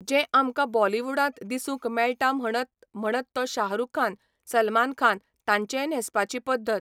जे आमकां बॉलिवुडांत दिसूंक मेळटा म्हणत म्हणत तो शाहरूख खान, सलमान खान, तांचेंय न्हेसपाची पद्दत